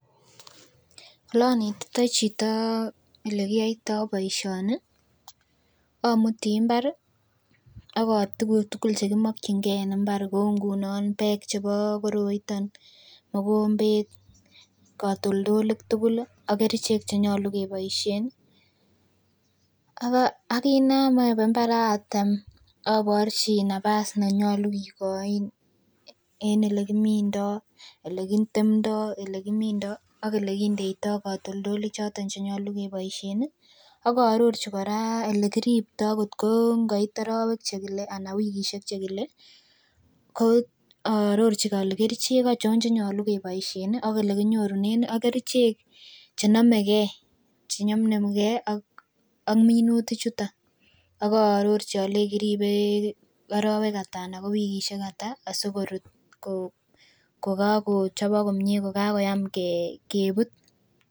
Oleanetaititoi chito olekiyoitoi poishoni amuti mbar agoituguk tugul chekimokchingei en imbar kou ngunon pek chebo koroiton, mokombet, katultilit tugul ak kerchek chenyalu kepoishe akiynayae ko mbar atem aporchin nafas nenyolu kekochin en olekimindoi ole kitemtoi ole kindeitoi katoltolik choton chenyalu kepoishen akaarorchi kora ole kiriptoi kotkongoit arowek chekile ala ko wikishe chekile ko aarorchin ale kerchek aachon che nyolu keboishen ak ole kinyorune ak kerchek chenameke chenyumnyum ak minutik chuton akaarorchi alei kiribe arowek ata ana ko wikishe ata asikorut kokakochopok komie kokakoyam kebut.